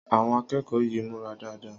Àwon akékòó yìí múra dáadáa